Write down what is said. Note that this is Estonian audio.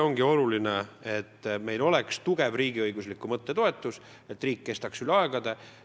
On väga oluline, et meil oleks tugev riigiõigusliku mõtte toetus, et riik kestaks üle aegade.